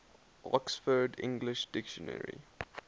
oxford english dictionary